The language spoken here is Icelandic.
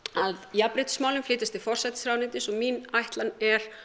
að jafnréttismálin flytjast til forsætisráðuneytisins og mín ætlan er